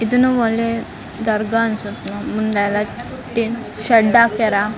ಇದನ್ನ ಹೊಲೆ ದರ್ಗ ಅನ್ಸುತ್ತೆ ಮುಂದೆ ಎಲ್ಲ ಶೆಡ್ಡ್ ಹಾಕ್ಯಾರ.